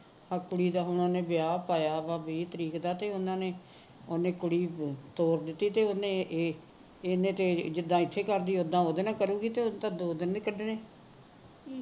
ਆ ਕੁੜੀ ਦਾ ਉਹਨੇ ਵਿਆਹ ਕਰਾਇਆ ਆ ਵੀਹ ਤਰੀਕ ਦਾ ਤੇ ਉਹਨਾਂ ਨੇ ਤੇ ਉਹਨੇ ਕੁੜੀ ਤੋਰ ਦਿੱਤੀ ਤੇ ਉਹਨੇ ਇਹ ਇਹਨੇ ਤਾ ਜਿਦਾ ਇੱਥੇ ਕਰਦੀ ਹੈ ਉਦਾ ਉੱਥੇ ਉਹਦੇ ਨਾਲ ਕਰੂਗੀ ਤਾਂ ਦੋ ਦਿਨ ਨਹੀ ਕੱਡਣੇ